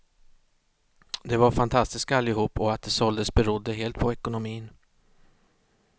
De var fantastiska allihop och att de såldes berodde helt på ekonomin.